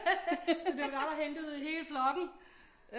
Så det var dig der hentede hele flokken